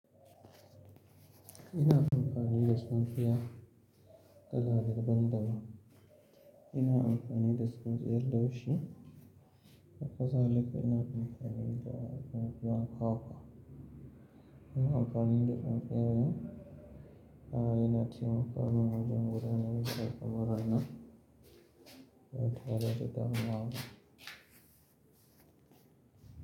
Ina amfani da tsinstiya, kalla daban daban. Ina amfani da tsinstiyan laushi, haƙa zalika ina amfani da tsinstiyan kwakwa. Ina amfani da tsinstiya ne, ah ina taimakon wajen gudanar da al'amura na ba tare da damuwa ba.